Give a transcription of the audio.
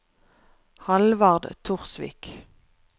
Hallvard Torsvik